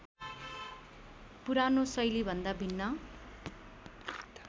पुरानो शैलीभन्दा भिन्न